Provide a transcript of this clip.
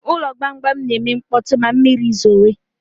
Ụlọ gbamgbam ga-eme mkpọtụ ma mmiri zowe